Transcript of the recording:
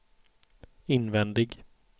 invändig